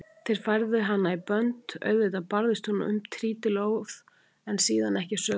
Þeir færðu hana í bönd, auðvitað barðist hún um trítilóð en síðan ekki söguna meir.